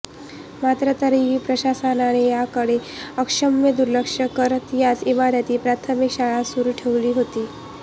मात्र तरीही प्रशासनाने याकडे अक्षम्य दुर्लक्ष करत याच इमारतीत प्राथमिक शाळा सुरू ठेवली होती